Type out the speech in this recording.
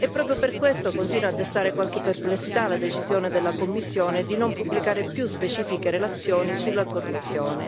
Proprio per questo continua a destare qualche perplessità la decisione della Commissione di non pubblicare più specifiche relazioni sulla corruzione